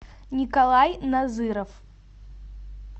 николай назыров